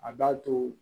A b'a to